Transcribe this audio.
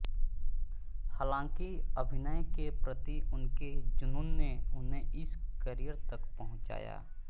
हालाँकि अभिनय के प्रति उनके जुनून ने उन्हें इस करियर तक पहुँचाया